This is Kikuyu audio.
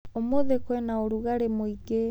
Ũmũthĩ kwĩna ũrugarĩ mũingĩ.